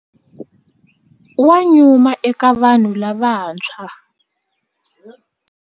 Wa nyuma eka vanhu lavantshwa.